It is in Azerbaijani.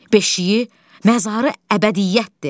Beşiyi məzarı əbədiyyətdir.